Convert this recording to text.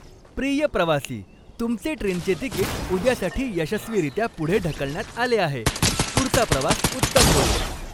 प्रिय प्रवासी, तुमचे ट्रेनचे तिकीट उद्यासाठी यशस्वीरित्या पुढे ढकलण्यात आले आहे. पुढचा प्रवास उत्तम होवो!